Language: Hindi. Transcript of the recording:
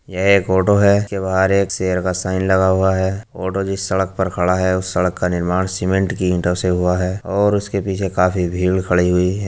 यह एक ऑटो है इसके बाहर में एक शेर का साइन लगा हुआ है। ऑटो जिस सड़क पर खड़ा है उस सड़क का निर्माण सीमेंट की ईटों से हुआ हैं और उसके पीछे काफी भीड़ खड़ी हुई हैं।